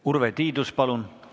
Urve Tiidus, palun!